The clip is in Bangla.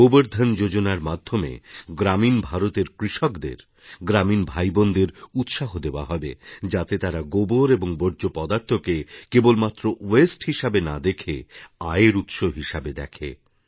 গোবর ধন যোজনার মাধ্যমে গ্রামীণ ভারতের কৃষকদের গ্রামীণ ভাই বোনদের উৎসাহ দেওয়া হবে যাতে তারা গোবর এবং বর্জ্যপদার্থকে কেবলমাত্র ওয়াস্তে হিসেবে না দেখে আয়ের উৎস হিসাবে দেখে